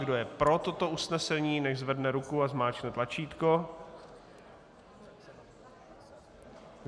Kdo je pro toto usnesení, nechť zvedne ruku a zmáčkne tlačítko.